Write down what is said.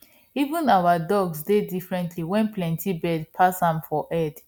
even our dog dey differently wen plenty bird pass am for head